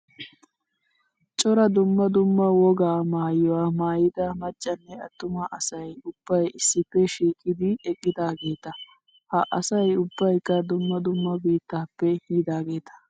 Cora dumma dumma wogaa maayyuwaa maayyida maccanne attuma asayi ubbayi issippe shiiqidi eqqidaageeta. Ha asayi ubbayikka dumma dumma biittaappe yiidaageeta.